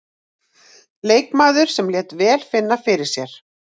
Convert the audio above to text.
Leikmaður sem lét vel finna fyrir sér.